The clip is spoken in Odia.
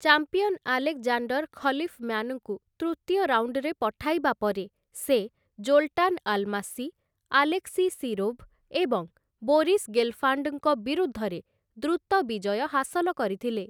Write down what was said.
ଚାମ୍ପିଅନ ଆଲେକ୍‌ଜାଣ୍ଡର ଖଲିଫ୍‌ମ୍ୟାନ୍‌ଙ୍କୁ ତୃତୀୟ ରାଉଣ୍ଡରେ ପଠାଇବା ପରେ ସେ ଜୋଲ୍‌ଟାନ୍‌ ଆଲ୍‌ମାସି, ଆଲେକ୍‌ସି ଶିରୋଭ୍‌ ଏବଂ ବୋରିସ୍ ଗେଲ୍‌ଫାଣ୍ଡଙ୍କ ବିରୁଦ୍ଧରେ ଦ୍ରୁତ ବିଜୟ ହାସଲ କରିଥିଲେ ।